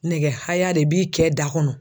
Nɛgɛ haya de b'i kɛ da kɔnɔ.